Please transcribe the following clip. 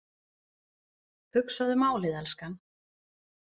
Hugsaðu málið, elskan.